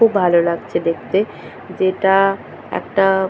খুব ভালো লাগছে দেখতে যেটা-আ একটা--